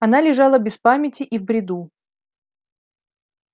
она лежала без памяти и в бреду